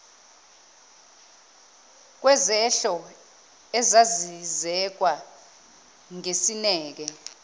kwezehlo ezazizekwa ngesineke